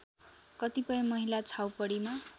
कतिपय महिला छाउपडीमा